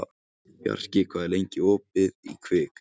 Undirbýr skaðabótamál vegna ólögmætrar uppsagnar